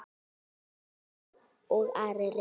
Eygló og Ari Reynir.